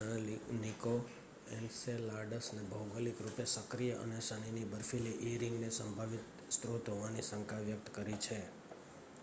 વૈજ્ઞાનિકો એન્સેલાડસને ભૌગોલિક રૂપે સક્રિય અને શનિની બર્ફીલી ઇ રીંગને સંભવિત સ્રોત હોવાની શંકા વ્યક્ત કરી છે